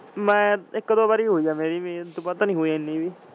ਮੈਂ ਇਕ ਦੋ ਵਾਰ ਹੋਇ ਆ ਮੇਰੀ ਵੀ ਓੜੁ ਬਾਅਦ ਤਾਂ ਨੀ ਹੋਇ ਏਨੀ ਵੀ।